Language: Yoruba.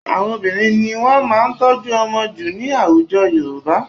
Àwọn obìnrin ni wọ́n máa ń tọ́jú ọmọ jù ní àwùjọ Yorùbá